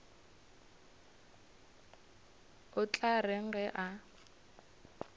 o tla reng ge a